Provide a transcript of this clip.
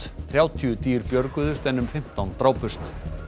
þrjátíu dýr björguðust en um fimmtán drápust